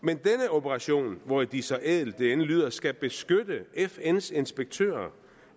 operation hvor de så ædelt det end lyder skal beskytte fns inspektører